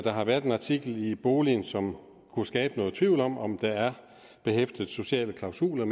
har været en artikel i boligen som kunne skabe noget tvivl om om det er behæftede med sociale klausuler